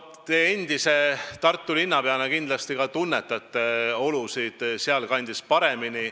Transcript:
Endise Tartu linnapeana te kindlasti tunnete selle kandi olusid paremini.